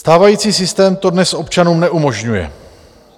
Stávající systém to dnes občanům neumožňuje.